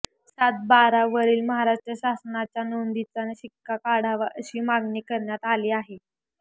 सात बारा वरील महाराष्ट्र शासनाच्या नोंदीचा शिक्का काढावा अशी मागणी करण्यात आली आहे